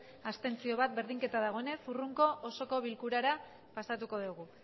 bat abstentzio berdinketa dagoenez hurrengo osoko bilkurara pasatuko dugu